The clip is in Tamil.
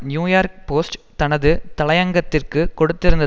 நியூயார்க் போஸ்ட் தனது தலையங்கத்திற்கு கொடுத்திருந்த